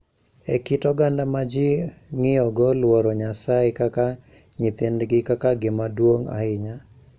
E kit oganda ma ji ng�iyogo luoro Nyasaye kaka nyithindgi kaka gima duong� ahinya,